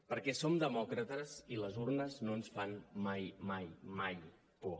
perquè som demòcrates i les urnes no ens fan mai mai mai por